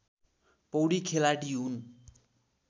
पौडी खेलाडी हुन्